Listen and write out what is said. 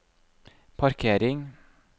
parkering